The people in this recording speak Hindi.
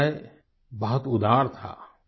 उनका ह्रदय बहुत उदार था